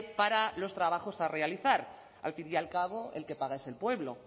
para los trabajos a realizar al fin y al cabo el que paga es el pueblo